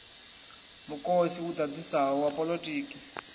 mukosi u ḓaḓisaho wa poḽotiki